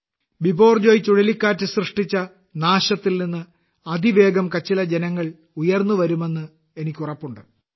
ബിപോർജോയ് ചുഴലിക്കാറ്റ് സൃഷ്ടിച്ച നാശത്തിൽനിന്ന് അതിവേഗം കച്ചിലെ ജനങ്ങൾ ഉയർന്നുവരുമെന്ന് എനിക്കുറപ്പുണ്ട്